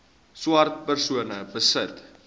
swart persone besit